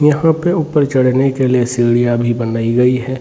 यहाँ पे ऊपर चढने के लिए सीढ़ियाॅं भी बनाई गई है।